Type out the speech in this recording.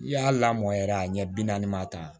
I y'a lamɔ yɛrɛ a ɲɛ bi naani ma tan